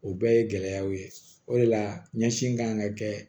O bɛɛ ye gɛlɛyaw ye o de la ɲɛsin kan ka kɛ